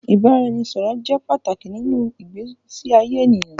Ìbáraẹnisọ̀rọ̀ jẹ́ pàtàkì nínú ìgbésí ayé ènìyàn.